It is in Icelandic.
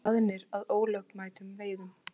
Staðnir að ólögmætum veiðum